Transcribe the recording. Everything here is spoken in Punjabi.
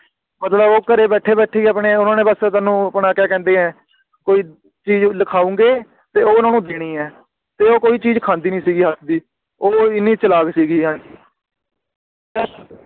ਮਤਲਬ ਉਹ ਘਰੇ ਬੈਠੇ ਬੈਠੇ ਹੀ ਆਪਣੇ ਓਹਨਾ ਨੇ ਬੱਸ ਤੁਹਾਨੂੰ ਆਪਣਾ ਕਿਆ ਕਹਿੰਦੇ ਆ ਕੋਈ ਚੀਜ਼ ਲਿਖਾਉਂਗੇ ਤੇ ਓਹਨੂੰ ਦੇਣੀ ਏ ਤੇ ਉਹ ਕੋਈ ਚੀਜ਼ ਖਾਂਦੀ ਨਹੀਂ ਸੀਗੀ ਹਾਂਜੀ ਉਹ ਇੰਨੀ ਚਲਾਕ ਸੀਗੀ ਹਾਂਜੀ